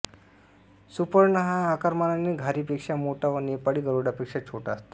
सुपर्ण हा आकारमानाने घारीपेक्षा मोठा व नेपाळी गरुडापेक्षा छोटा असतो